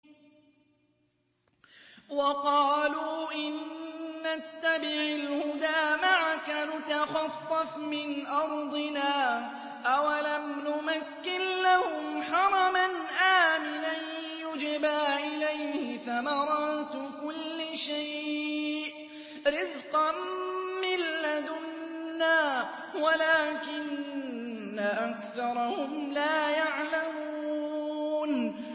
وَقَالُوا إِن نَّتَّبِعِ الْهُدَىٰ مَعَكَ نُتَخَطَّفْ مِنْ أَرْضِنَا ۚ أَوَلَمْ نُمَكِّن لَّهُمْ حَرَمًا آمِنًا يُجْبَىٰ إِلَيْهِ ثَمَرَاتُ كُلِّ شَيْءٍ رِّزْقًا مِّن لَّدُنَّا وَلَٰكِنَّ أَكْثَرَهُمْ لَا يَعْلَمُونَ